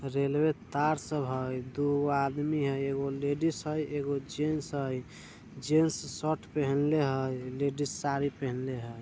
रेलवे तार सब हय दुगो आदमी हय एगो लेडिस हय एगो जेंट्स हय जेंट्स शर्ट पहने हई लेडीज साड़ी पहेनले हय।